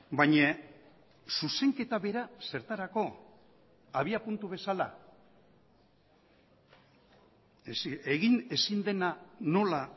baina zuzenketa bera zertarako abiapuntu bezala egin ezin dena nola